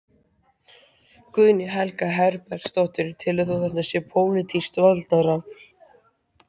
Guðný Helga Herbertsdóttir: Telur þú að þetta sé pólitískt valdatafl?